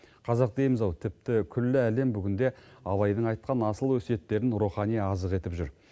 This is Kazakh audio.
қазақ дейміз ау тіпті күллі әлем бүгінде абайдың айтқан асыл өсиеттерін рухани азық етіп жүр